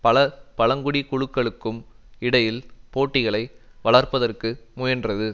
பல பழங்குடி குழுக்களுக்கும் இடையில் போட்டிகளை வளர்ப்பதற்கு முயன்றது